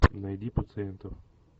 найди пациенту